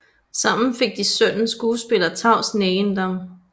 Sammen fik de sønnen skuespiller Tavs Neiiendam